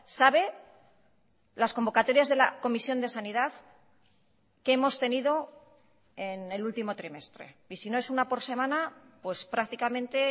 sabe las convocatorias de la comisión de sanidad que hemos tenido en el último trimestre y si no es una por semana pues prácticamente